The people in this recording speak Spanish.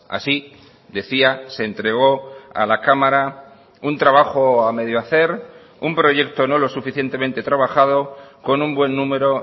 así decía se entregó a la cámara un trabajo a medio hacer un proyecto no lo suficientemente trabajado con un buen número